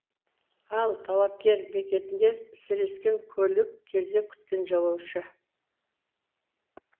ал талапкер бекетінде сірескен көлік кезек күткен жолаушы